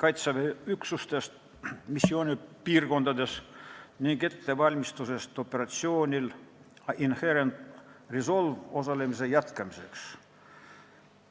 Kaitseväe üksustest missioonipiirkondades ning ettevalmistusest operatsioonil Inherent Resolve osalemise jätkamisest.